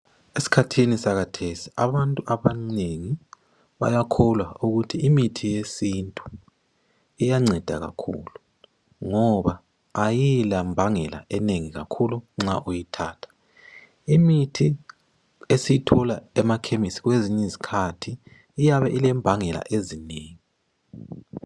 Esikhathini sakathesi abantu abanengi bayakholwa ukuthi imithi yesintu iyanceda kakhulu ngoba ayila mbangela enengi kakhulu nxa uyithatha. imithi esiyithola emakhemisi iyabe ilembangela ezinengi .